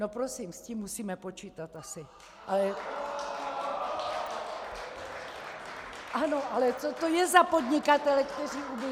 ... no prosím, s tím musíme počítat asi. . Ano, ale co to je za podnikatele, kteří ubudou -